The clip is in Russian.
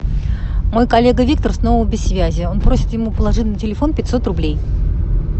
мой коллега виктор снова без связи он просит ему положить на телефон пятьсот рублей